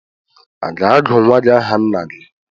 A ga-agu nwa gị aha nna gị?